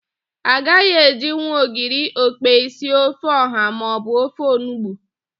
A gaghị ejinwu ogiri okpei sie ofe ọ̀há maọbụ ofe onugbu.